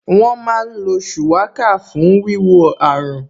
Wọ́n má ń lo Shuwaka fún wíwo àrùn